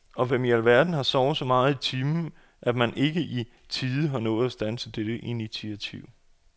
Og hvem i alverden har sovet så meget i timen, at man ikke i tide har nået at standse dette initiativ.?